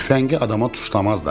Tüfəngi adama tuşlamazlar!